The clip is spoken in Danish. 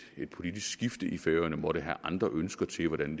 politisk skifte i færøerne måtte have andre ønsker til hvordan